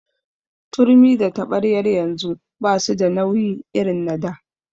Turmi da taɓaryar yanzu basu da nauyi irin na da.